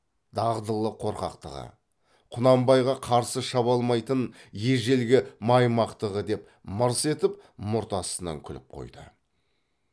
дағдылы қорқақтығы құнанбайға қарсы шаба алмайтын ежелгі маймақтығы деп мырс етіп мұрт астынан күліп қойды